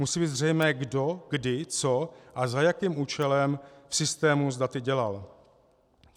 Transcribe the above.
Musí být zřejmé kdo kdy co a za jakým účelem v systému s daty dělal.